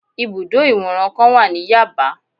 Ibùdó ìwòran kan wà ní Yaba